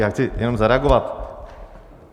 Já chci jenom zareagovat.